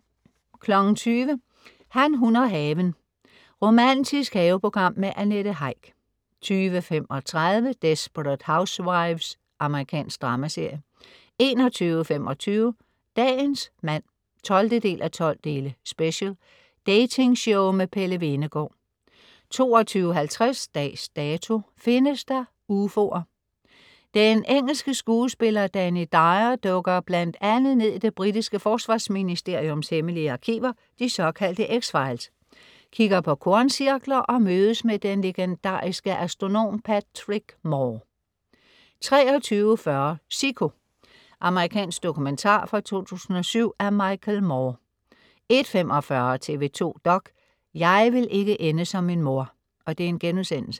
20.00 Han, hun og haven. Romantisk haveprogram med Annette Heick 20.35 Desperate Housewives. Amerikansk dramaserie 21.25 Dagens mand 12:12. Special. Datingshow med Pelle Hvenegaard 22.50 Dags Dato: Findes der ufoer? Den engelske skuespiller Danny Dyer dykker bl.a. ned i det britiske forsvarsministeriums hemmelige arkiver, de såkaldte X-files, kigger på korncirkler og mødes med den legendariske astronom Patrick Moore 23.40 Sicko. Amerikansk dokumentar fra 2007 af Michael Moore 01.45 TV 2 dok.: Jeg vil ikke ende som min mor*